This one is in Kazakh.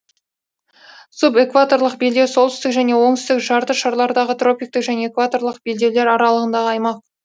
субэкваторлық белдеу солтүстік және оңтүстік жарты шарлардағы тропиктік және экваторлық белдеулер аралығындағы аймақ